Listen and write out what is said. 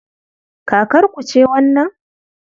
Kakarku ce wannan?